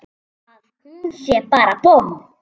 Að hún sé bara bomm!